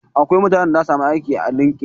Akwai mutanen da zasu samu aiki a lindin